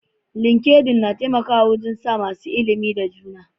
Linkedin na taimakawa wurin sa da masu ilimi da juna.